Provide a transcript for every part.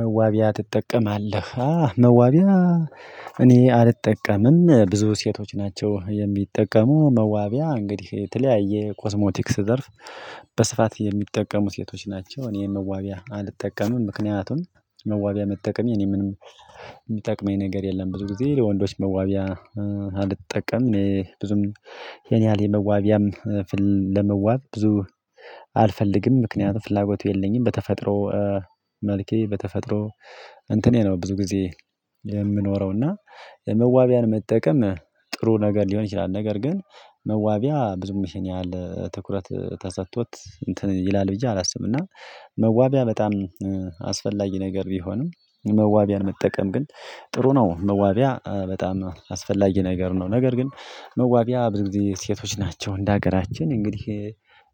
መዋቢያ ትጠቀማለህ መዋቢያ? እኔ አልጠቀምም ብዙ ሴቶች ናቸው የሚጠቀሙ መዋቢያ እንግዲህ የተለያየ ኮስሞቲክስ ዘርፍ። በስፋት የሚጠቀሙ ሴቶች ናቸው እኔ መዋቢያ አልጠቀምም ምክንያቱም መዋቢያ መጠቀም የኔ ምንም የሚጠቅመኝ ነገር የለም። ብዙ ጊዜ ለወንዶች መዋቢያ አልጠቀምም እኔ ብዙም የኔ ያህል የመዋቢያም ለመዋብ ብዙ አልፈልግም ምክንያቱም ፍላጎቱ የለኝም። በተፈጥሮ መልኬ በተፈጥሮ እንትኔ ነው ብዙ ጊዜ የምኖረው እና መዋቢያን መጠቀም ጥሩ ነገር ሊሆን ይችላል። ነገር ግን መዋቢያ ብዙ ይህን ያህል ትኩረት ተሰጥቶት እንትን ይላል ብዬ አላስብም። እና መዋቢያ በጣም አስፈላጊ ነገር ቢሆንም መዋቢያን መጠቀም ግን ጥሩ ነው። መዋቢያ በጣም አስፈላጊ ነገር ነው። ነገር ግን መዋቢያ ብዙ ጊዜ ሴቶች ናቸው እንደ ሀገራችን እንግዲህ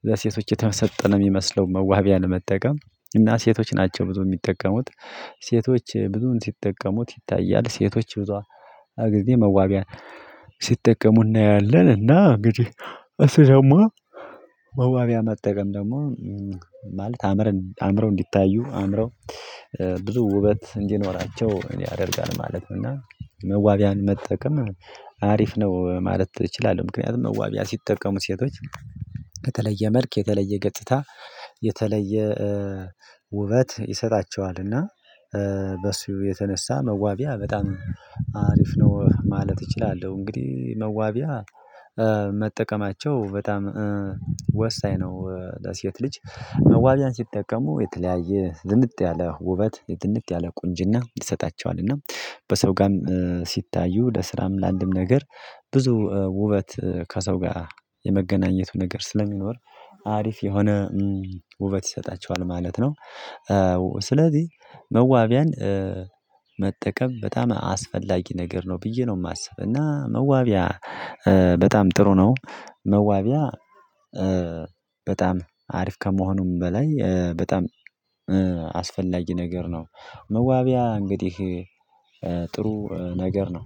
ለሴቶች የተሰጠን የሚመስለውን መዋቢያ ለመጠቀም እና ሴቶች ናቸው ብዙ የሚጠቀሙት ሴቶች ብዙን ሲጠቀሙት ይታያል ሴቶች ብዙ ጊዜ መዋቢያ ሲጠቀሙ እናያለን። እና እንግዲህ እሰማ መዋቢያ መጠቀም ደግሞ ማለት አምረን እንዲታዩ አምረው ብዙ ውበት እንዲኖራቸው እኔ አደርጋለሁ ማለት ነው። እና መዋቢያን መጠቀም አሪፍ ነው ማለት እችላለሁ። ምክንያቱም መዋቢያ ሲጠቀሙት ሴቶች ከተለየ መልክ የተለየ ገጽታ የተለየ ውበት ይሰጣቸዋልና በሱ የተነሳ መዋቢያ በጣም አሪፍ ነው ማለት እችላለሁ። እንግዲህ መዋቢያ መጠቀማቸው በጣም ወሳኝ ነው። ለሴት ልጅ መዋቢያን ሲጠቀሙ የተለያየ ዝንጥ ያለ ውበት የዝንጥ ያለ ቁንጅና ይሰጣቸዋል። እና በሰው ጋርም ወደ ስራም ለአንድም ነገር ብዙ ውበት ከሰው ጋር የመገናኘቱ ነገር ስለሚኖር አሪፍ የሆነ ውበት ይሰጣቸዋል ማለት ነው። ስለዚህ መዋቢያን መጠቀም በጣም አስፈላጊ ነገር ነው ብዬ ነው የማስበው። እና መዋቢያ በጣም ጥሩ ነው። መዋቢያ በጣም አሪፍ ከመሆኑም በላይ በጣም አስፈላጊ ነገር ነው። መዋቢያ እንግዲህ ጥሩ ነገር ነው